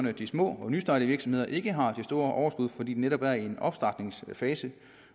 at de små og nystartede virksomheder ikke har de store overskud fordi de netop er i en opstartfase